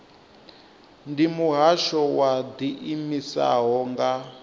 ndi muhasho wo ḓiimisaho nga